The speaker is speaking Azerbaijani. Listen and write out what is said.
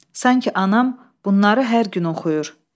Sanki anam bunları hər gün oxuyur.